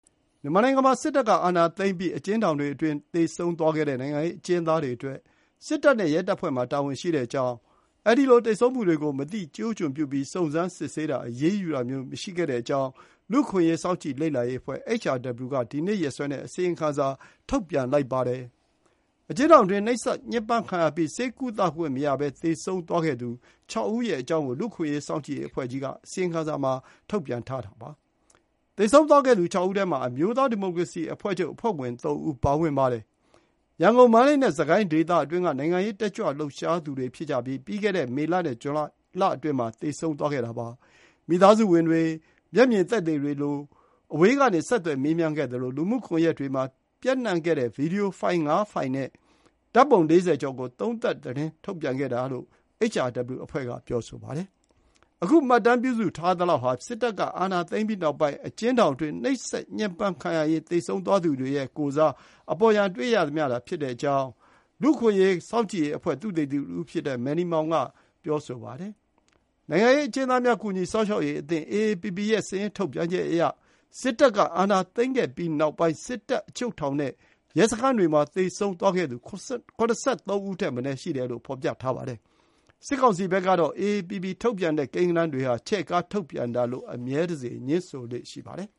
မြန်မာနိုင်ငံမှာ စစ်တပ်အာဏာသိမ်းပြီးနောက်ပိုင်း အကျဉ်းထောင်တွေအတွင်း သေဆုံးခဲ့တဲ့ နိုင်ငံရေးအကျဉ်းသားတွေအတွက် စစ်တပ်နဲ့ရဲတပ်ဖွဲ့မှာ တာဝန်ရှိတဲ့ အကြောင်းနဲ့ ဒီလို သေဆုံးမှုတွေကိုမသိကျိုးကျွံပြုပြီး စုံစမ်းစစ်ဆေးတာ၊ အရေးယူတာမျိုး မလုပ်တဲ့အကြောင်း လူ့အခွင့်အရေး စောင့်ကြည့်လေ့လာရေးအဖွဲ့ HRW က ဒီနေ့ ရက်စွဲနဲ့ အစီရင်ခံစာထုတ်ပြန်ပါတယ်။ အကျဉ်းထောင်အတွင်း နှိပ်စက်ညှင်းပမ်းခံရပြီး ဆေးကုသခွင့်မရဘဲ သေဆုံးခဲ့သူ ၆ ဦး ရဲ့အကြောင်းကို လူ့အခွင့်အရေး စောင့်ကြည့်ရေးအဖွဲ့ကြီးက အစီရင်စာထုတ်ပြန်တာပါ။ သေဆုံးခဲ့သူ ၆ ဦးထဲမှာ အမျိုးသား ဒီမိုကရေစီအဖွဲ့ချုပ်အဖွဲ့ဝင် ၃ ဦး ပါဝင်ပါတယ်။ ရန်ကုန်၊ မန္တလေးနဲ့ စစ်ကိုင်းဒေသတွေအတွင်းက နိုင်ငံရေးတက်ကြွလှုပ်ရှားသူတွေ ဖြစ်ပြီး ပြီးခဲ့တဲ့မေလ နဲ့ ဇူလိုင်လအတွင်း သေဆုံးခဲ့တာပါ။ မိသားစုဝင်တွေ မျက်မြင် သက်သေတွေကို အဝေးကနေ ဆက်သွယ် မေးမြန်းခဲ့သလို လူမှုကွန်ရက်တွေမှာ ပျံ့နှံ့ခဲ့တဲ့ ဗွီဒီယိုဖိုင် ၅ ဖိုင်နဲ့ ဓါတ်ပုံ ၄၀ ကျော်ကို သုံးသပ်သတင်းထုတ်ပြန်ခဲ့တာလို့ HRW အဖွဲ့က ပြောဆိုပါတယ်။ အခု မှတ်တမ်း ပြုစုထားသလောက်ဟာ စစ်တပ်က အာဏာသိမ်းပြီးနောက်ပိုင်း အကျဉ်းထောင်အတွင်း နှိပ်စက်ညှင်းပမ်း ခံရရင်း သေဆုံးခဲ့သူတွေရဲ့ ကိုယ်စား အပေါ်ယံ တွေ့ရသမျှသာ ဖြစ်တဲ့အကြောင်း လူ့အခွင့်အရေး စောင့်ကြည့်ရေးအဖွဲ့ သုသေသီတဦးဖြစ်တဲ့ Manny Maung က ပြောဆိုပါတယ်။ နိုင်ငံရေးအကျဉ်းသားများ ကူညီစောင့်ရှောက်ရေးအသင်း AAPP ရဲ့ စာရင်းထုတ်ပြန်ချက်အရ စစ်တပ်က အာဏာသိမ်းခဲ့ပြီးနောက်ပိုင်း စစ်တပ်၊ အချုပ်ထောင်နဲ့ ရဲစခန်းတွေမှာ သေဆုံးခဲ့သူ ၇၃ ဦးထက်မနည်း ရှိတယ်လို့ ဖော်ပြပါတယ်။ စစ်ကောင်စီ ဘက်ကတော့ AAPP ထုတ်ပြန်တဲ့ ကိန်းဂဏန်းတွေဟာ ချဲ့ကား ထုတ်ပြန်တာလို့ အမြဲတစေ ငြင်းဆိုလေ့ရှိပါတယ်